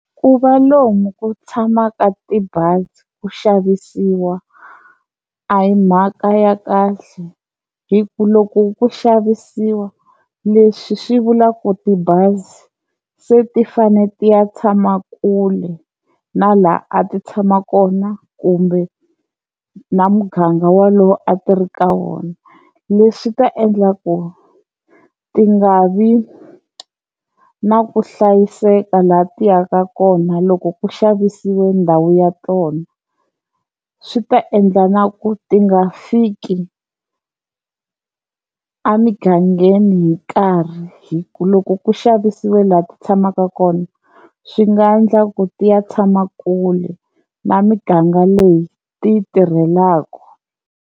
Ku va lomu ku tshamaka tibazi ku xavisiwa a hi mhaka ya kahle hi ku loko ku xavisiwa leswi swi vula ku tibazi se ti fanele ti ya tshama kule na laha a ti tshama kona kumbe na muganga walowo a ti ri ka wona, leswi ta endla ku ti nga vi na ku hlayiseka laha ti yaka kona loko ku xavisile ndhawu ya tona, swi ta endla na ku ti nga fiki a migangeni hi nkarhi hi ku loko ku xavisiwe laha ti tshamaka kona swi nga endla ku ti ya tshama kule na miganga leyi ti yi tirhelaku.